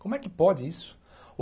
Como é que pode isso?